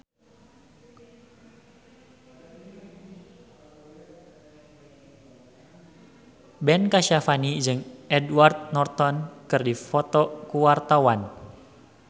Ben Kasyafani jeung Edward Norton keur dipoto ku wartawan